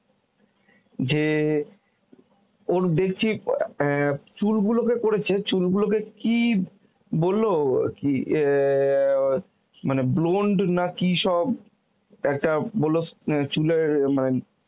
যে ওর দেখছি অ্যাঁ চুল গুলোকে করেছে চুলগুলোকে কি বলল কি অ্যাঁ মানে blonde না কি সব একটা বলল মানে